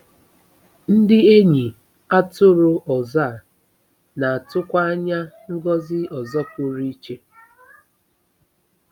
Ndị enyi atụrụ ọzọ a na-atụkwa anya ngọzi ọzọ pụrụ iche.